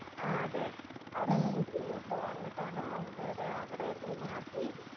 ആഹ് അതെ ആ rescue team ഒക്കെ വന്നിട്ടാണ് അവരെ അവിടെയിരുന്ന് മാറ്റി